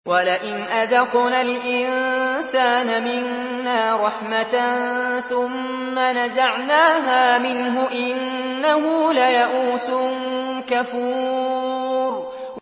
وَلَئِنْ أَذَقْنَا الْإِنسَانَ مِنَّا رَحْمَةً ثُمَّ نَزَعْنَاهَا مِنْهُ إِنَّهُ لَيَئُوسٌ كَفُورٌ